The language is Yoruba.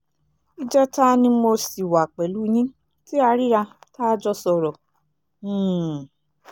ìjẹta ni mo sì wà pẹ̀lú yín tí a ríra tá a jọ sọ̀rọ̀ um